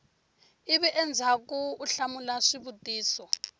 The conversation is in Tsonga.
ivi endzhaku u hlamula swivutiso